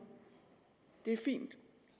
det er fint